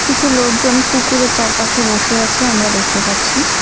কিছু লোকজন পুকুরের চারপাশে বসে আছে আমরা দেখতে পাচ্ছি।